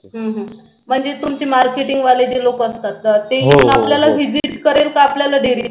हम्म हम्म म्हणजे तुमचे marketing वाले जे लोक असतात ते येऊन आपल्यालाच visit करेल की आपल्याला dairy